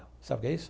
Sabe o que é isso?